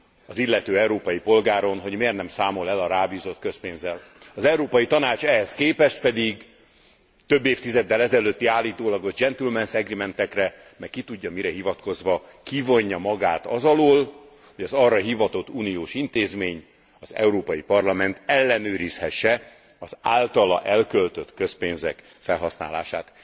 az illető európai polgáron, hogy miért nem számol el a rábízott közpénzzel. Az Európai Tanács ehhez képest pedig több évtizeddel ezelőtti állítólagos gentlemen's agreement ekre, meg ki tudja mire hivatkozva kivonja magát az alól, hogy az arra hivatott uniós intézmény az Európai Parlament ellenőrizhesse az általa elköltött közpénzek felhasználását.